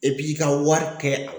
E b'i ka wari kɛ a